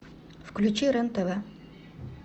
включи рен тв